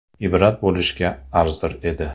Ibrat bo‘lishga arzir edi.